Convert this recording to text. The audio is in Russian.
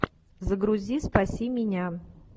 загрузи спаси меня